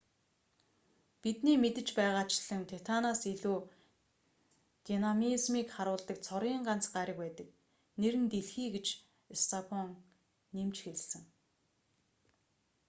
бидний мэдэж байгаачлан титанаас илүү динамизмийг харуулдаг цорын ганц гариг байдаг нэр нь дэлхий гэж стофан нэмж хэлэв